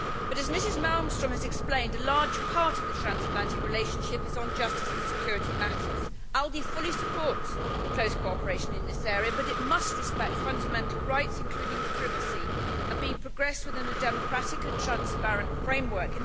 But, as Mrs Malmström has explained, a large part of the transatlantic relationship relates to justice and security matters. The ALDE Group fully supports close cooperation in this area but it must respect fundamental rights, including privacy, and be progressed within a democratic and transparent framework.